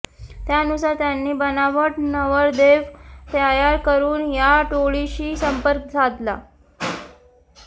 त्यानुसार त्यांनी बनावट नवरदेव तयार करून या टोळीशी संपर्क साधला